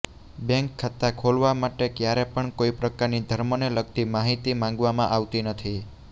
bank ખાતા ખોલવા માટે ક્યારે પણ કોઇ પ્રકારની ધર્મને લગતી માહિતી માંગવામાં આવતી નથી